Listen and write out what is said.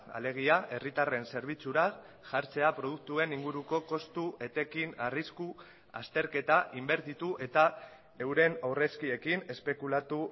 alegia herritarren zerbitzura jartzea produktuen inguruko kostu etekin arrisku azterketa inbertitu eta euren aurrezkiekin espekulatu